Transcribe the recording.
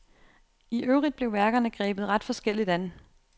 I øvrigt blev værkerne grebet ret forskelligt an.